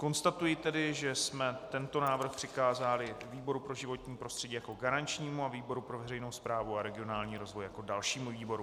Konstatuji tedy, že jsme tento návrh přikázali výboru pro životní prostředí jako garančnímu a výboru pro veřejnou správu a regionální rozvoj jako dalšímu výboru.